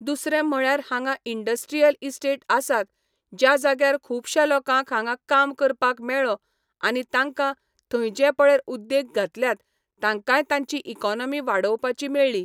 दुसरें म्हळ्यार हांगा इंड्स्ट्रियल इस्टेट आसात ज्या जाग्यार खुबश्या लोकांक हांगा काम करपाक मेळ्ळों आनी तांकां थंय जे पळय उद्द्योग घातल्यात तांकाय तांची इकोनोमी वाडोवपाची मेळ्ळी